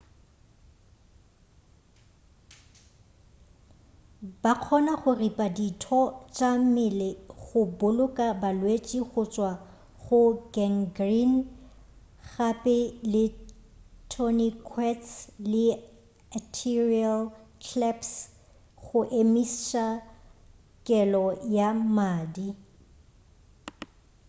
ba kgona go ripa ditho tša mmele go boloka balwetši go tšwa go gangrene gape le tourniquets le arterial claps go emiša kelo ya mmadi